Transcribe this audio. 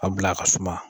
A bila a ka suma